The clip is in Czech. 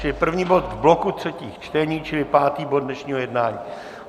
Čili první bod v bloku třetích čtení, čili pátý bod dnešního jednání.